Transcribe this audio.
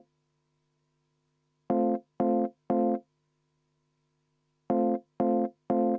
Aitäh, austatud esimees!